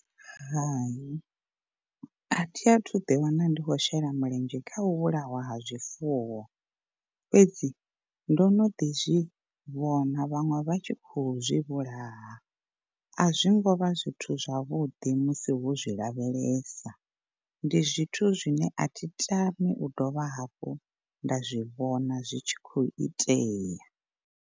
Hai athi athu ḓi wana ndi khou shela mulenzhe kha u vhulawa ha zwifuwo, fhedzi ndo no ḓi zwi vhona vhaṅwe vha tshi khou zwi vhulaha, a zwi ngo vha zwithu zwavhuḓi musi wo zwi lavhelesa, ndi zwithu zwine a thi tami u dovha hafhu nda zwi vhona zwi tshi khou itea.